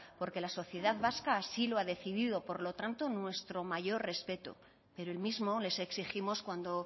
porque la sociedad vasca así lo ha decidido por lo tanto nuestro mayor respeto pero el mismo les exigimos cuando